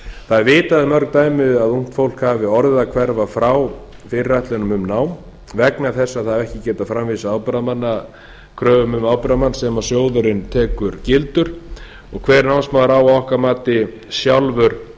það er vitað um mörg dæmi að ungt fólk hafi orðið að hverfa frá fyrirætlunum um nám vegna þess að það hefur ekki getað framvísað kröfum um ábyrgðarmann sem sjóðurinn tekur gildan og hver námsmaður á að okkar mati sjálfur að